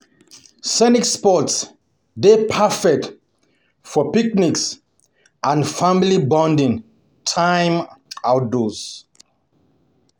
Scenic spots dey perfect for picnics and family bonding um time outdoors.